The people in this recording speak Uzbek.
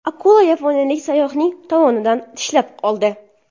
Akula yaponiyalik sayyohning tovonidan tishlab oldi.